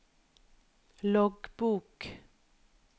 loggbok